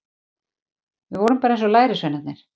Við vorum bara eins og lærisveinarnir.